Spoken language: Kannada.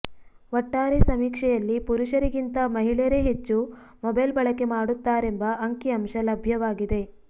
ಒಟ್ಟಾರೆ ಸಮೀಕ್ಷೆಯಲ್ಲಿ ಪುರುಷರಿಗಿಂತ ಮಹಿಳೆಯರೇ ಹೆಚ್ಚು ಮೊಬೈಲ್ ಬಳಕೆ ಮಾಡುತ್ತಾರೆಂಬ ಅಂಕಿ ಅಂಶ ಲಭ್ಯವಾಗಿದೆ